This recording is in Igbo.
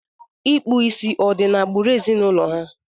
Ịkpu ìsì ọ̀ di n'agbụrụ ezinụlọ ha?